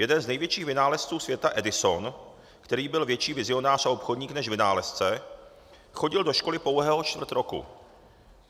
Jeden z největších vynálezců světa Edison, který byl větší vizionář a obchodník než vynálezce, chodil do školy pouhého čtvrt roku.